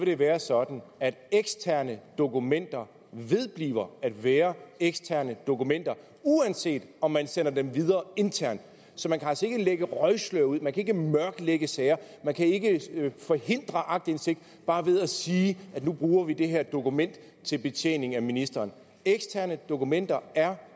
det være sådan at eksterne dokumenter vedbliver at være eksterne dokumenter uanset om man sender dem videre internt så man kan altså ikke lægge røgslør ud man kan ikke mørklægge sager man kan ikke forhindre aktindsigt bare ved at sige nu bruger vi det her dokument til betjening af ministeren eksterne dokumenter er